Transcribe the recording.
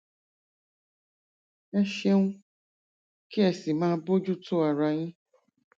ẹ ṣeun kí ẹ sì máa bójú tó ara yín